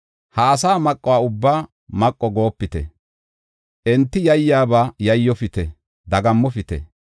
Ha asaa maqo ubbaa maqo goopite; enti yayyiyaba Yayyofite; dagammopite.